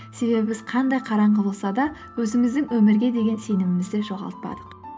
себебі біз қандай қараңғы болса да өзіміздің өмірге деген сенімімізді жоғалтпадық